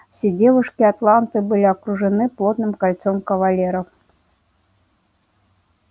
все девушки атланты были окружены плотным кольцом кавалеров